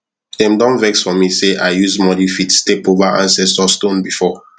them don vex for me say i use muddy feet step over ancestor stone before